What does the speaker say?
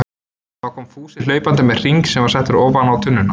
Þá kom Fúsi hlaupandi með hring sem var settur ofan á tunnuna.